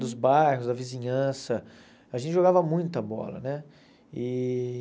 Dos bairros, da vizinhança, a gente jogava muita bola, né? E